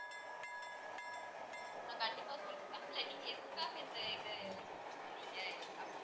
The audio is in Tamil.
நான் கண்டிப்பா சொல்றேன் ma'am இல்ல நீங்க எதுக்காக இந்த இதை choose பண்ணீங்க அப்படின்னு